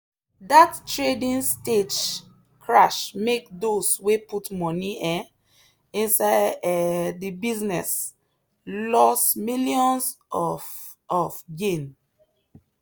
that trading stage crash make those way put money um inside um the business loss millions of of gain.